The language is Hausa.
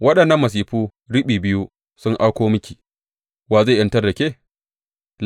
Waɗannan masifu riɓi biyu sun auko miki, wa zai ta’azantar da ke?